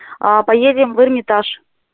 а поедем в эрмитаж